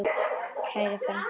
Kæra frænka.